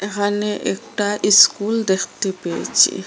এখানে একটা ইস্কুল দেখতে পেয়েছি।